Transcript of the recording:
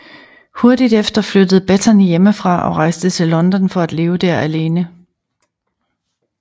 Hurtigt efter flyttede Bettany hjemmefra og rejste til London for at leve der alene